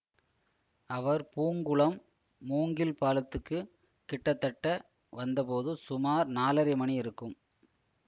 அவர் பூங்குளம் மூங்கில் பாலத்துக்குக் கிட்டத்தட்ட வந்தபோது சுமார் நாலரை மணி இருக்கும்